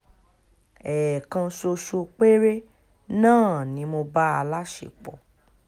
ẹ̀ẹ̀kan ṣoṣo péré náà ni mo bá a láṣepọ̀